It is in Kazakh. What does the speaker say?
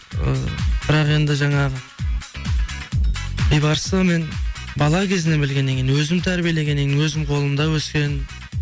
ы бірақ енді жаңағы бейбарысты мен бала кезінен білгеннен кейін өзім тәрбиелегеннен кейін өзімнің қолымда өскен